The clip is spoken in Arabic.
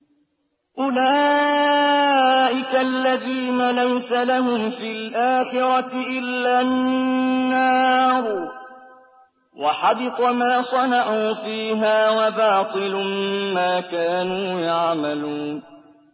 أُولَٰئِكَ الَّذِينَ لَيْسَ لَهُمْ فِي الْآخِرَةِ إِلَّا النَّارُ ۖ وَحَبِطَ مَا صَنَعُوا فِيهَا وَبَاطِلٌ مَّا كَانُوا يَعْمَلُونَ